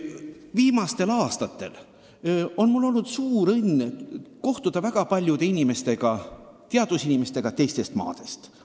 Viimastel aastatel on mul olnud suur õnn kohtuda väga paljude teadusinimestega teistest maadest.